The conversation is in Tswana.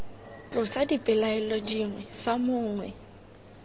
tlosa dipelaelo dingwe fa mongwe